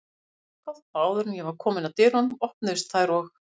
Það var bankað og áður en ég var komin að dyrunum, opnuðust þær og